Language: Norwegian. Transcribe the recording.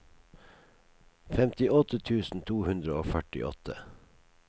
femtiåtte tusen to hundre og førtiåtte